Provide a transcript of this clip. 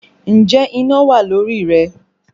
Ǹjẹ́ iná wà lórí rẹ?